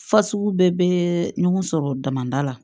Fasugu bɛɛ bɛ ɲɔgɔn sɔrɔ damada la